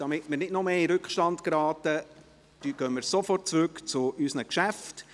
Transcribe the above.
Um nicht noch mehr in Rückstand zu geraten, gehen wir sofort zurück zu unseren Geschäften.